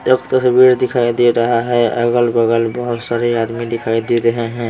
एक तस्वीर दिखाई दे रहा है अगल-बगल बहुत सारे आदमी दिखाई दे रहे हैं।